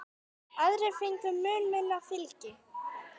Aðrir fengu mun minna fylgi.